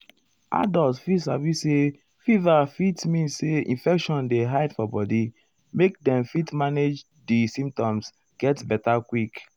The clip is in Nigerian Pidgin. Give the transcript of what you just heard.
adults fit sabi say fever fit mean say infection dey hide for body make dem fit manage di symptoms get beta quick.